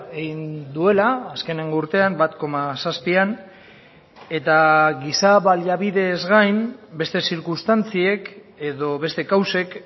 egin duela azkeneko urtean bat koma zazpian eta giza baliabidez gain beste zirkunstantziek edo beste kausek